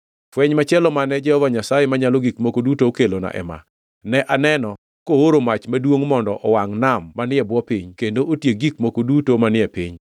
Fweny machielo mane Jehova Nyasaye Manyalo Gik Moko Duto okelona ema: Ne aneno kooro mach maduongʼ mondo owangʼ nam manie bwo piny, kendo otiek gik moko duto manie piny.